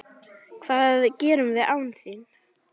Hvað gerum við án þín?